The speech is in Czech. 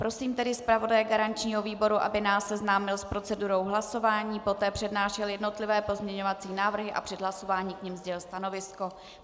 Prosím tedy zpravodaje garančního výboru, aby nás seznámil s procedurou hlasování, poté přednášel jednotlivé pozměňovací návrhy a před hlasováním k nim sdělil stanovisko.